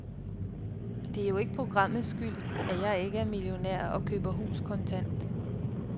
Det er jo ikke programmets skyld, at jeg ikke er millionær og køber hus kontant.